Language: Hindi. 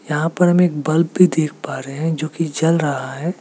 यहां पर हम एक बल्ब भी देख पा रहे हैं जो की जल रहा है।